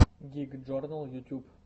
гик джорнал ютюб